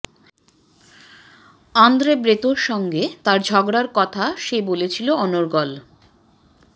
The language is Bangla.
আঁদ্রে ব্রেঁতোর সঙ্গে তার ঝগড়ার কথা সে বলেছিল অনর্গল